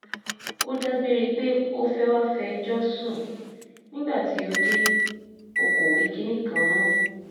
ó dágbére pé ó fẹ́ẹ́ wáá fẹjọ́ sùn nígbà tí ó dé o kò wí kinní kan mọ́